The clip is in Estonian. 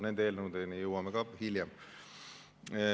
Nende eelnõudeni jõuame hiljem.